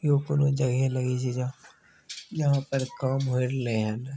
इ ऊपर में यहाँ पैर काम हो रहलिय है।